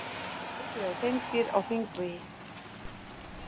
Ekið á hreindýr á hringvegi